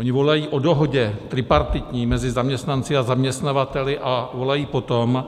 Oni volají po dohodě, tripartitní, mezi zaměstnanci a zaměstnavateli a volají po tom,